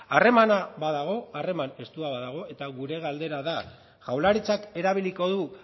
harremana badago harreman estua badago eta gure galdera da jaurlaritzak erabiliko du